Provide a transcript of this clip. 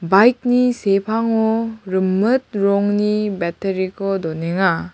bike-ni sepango rimit rongni battery-ko donenga.